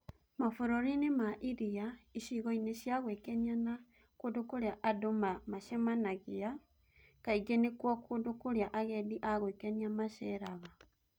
mabũrũri-inĩ ma iria, icigo-inĩ cia gwĩkenia na kũndũ kũrĩa andũ maacemanagia Kaingĩ nĩkuo kũndũ kũrĩa agendi a gwĩkenia maceeragara